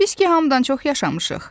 Biz ki hamıdan çox yaşamışıq.